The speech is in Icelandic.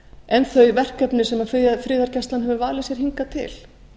en þau verkefni sem friðargæslan hefur valið sér hingað til